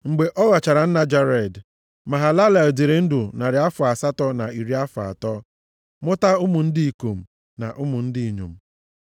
Mgbe ọ ghọchara nna Jared, Mahalalel dịrị ndụ narị afọ asatọ na iri afọ atọ, mụta ụmụ ndị ikom na ụmụ ndị inyom.